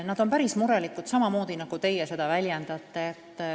Nad on päris murelikud, samamoodi nagu teie seda väljendasite.